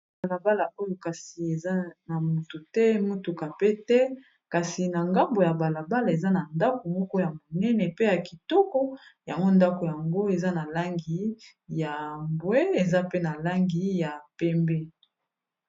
Balabala oyo kasi eza na moto te motuka pe te kasi na ngambo ya balabala eza na ndako moko ya monene pe ya kitoko yango ndako yango eza na langi ya mbwe eza pe na langi ya pembe.